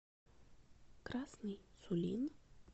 красный сулин